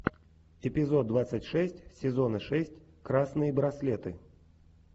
эпизод двадцать шесть сезона шесть красные браслеты